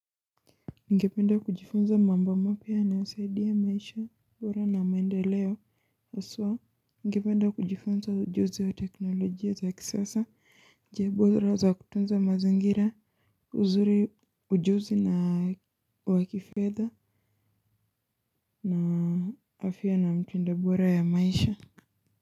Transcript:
Ningependa kujifunza mambo mapya na saidi ya maisha bora na maendeleo haswa. Ngependa kujifunza ujuzi wa teknolojia za kisasa. Njia bora za kutunza mazangira uzuri ujuzi na wa kifedha na afya na mtindo bora ya maisha.